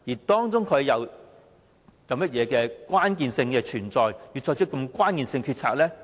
當中存在甚麼關鍵性考慮，促使他作出如此關鍵性的決定？